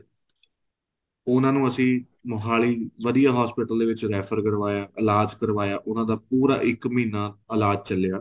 ਉਹਨਾ ਨੂੰ ਅਸੀਂ ਮੋਹਾਲੀ ਵਧੀਆ hospital ਦੇ ਵਿੱਚ refer ਕਰਵਾਇਆ ਇਲਾਜ਼ ਕਰਵਾਇਆ ਉਹਨਾ ਦਾ ਪੂਰਾ ਇੱਕ ਮਹੀਨਾ ਇਲਾਜ ਚੱਲਿਆ